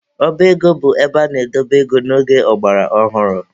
Ọba ego bụ ebe ana-edobe ego n'oge ọgbara ọhụrụ.